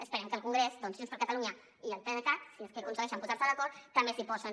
esperem que el congrés doncs junts per catalunya i el pdecat si és que aconsegueixen posar se d’acord també s’hi posin